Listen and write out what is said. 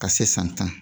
Ka se san tan